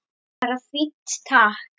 Bara fínt, takk!